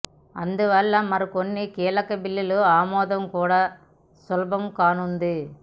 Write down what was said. అందువల్ల మరికొన్ని కీలక బిల్లుల ఆమోదం కూడా సులభం కానుంది